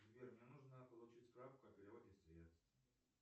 сбер мне нужно получить справку о переводе средств